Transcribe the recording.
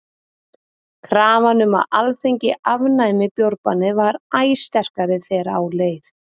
krafan um að alþingi afnæmi bjórbannið varð æ sterkari þegar á leið